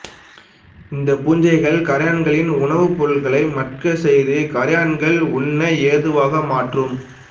இந்த பூஞ்சைகள் கறையான்களின் உணவுப் பொருட்களை மட்கச்செய்து கரையான்கள் உண்ண ஏதுவாக மாற்றும்